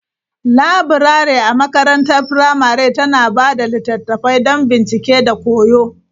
Laburare a makarantar firamare tana ba da littattafai don bincike da koyo.